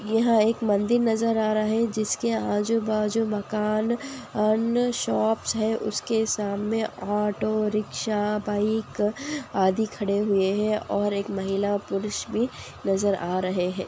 यह एक मंदिर नजर आ रहे है जिसके आजु-बाजु मकान अन्य शॉप है उसके सामने ऑटो रिक्शा बाइक आदि खड़े हुए है एक महिला पुरष भी नजर आ रहे है।